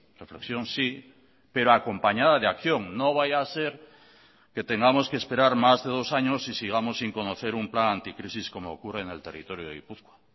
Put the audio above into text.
reflexión sí pero acompañada de acción no vaya a ser que tengamos que esperar más de dos años y sigamos sin conocer un plan anticrisis como ocurre en el territorio de gipuzkoa